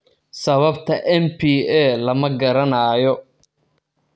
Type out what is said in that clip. Sababta MPA lama garanayo.